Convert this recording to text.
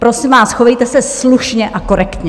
Prosím vás, chovejte se slušně a korektně.